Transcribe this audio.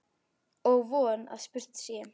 Og von að spurt sé.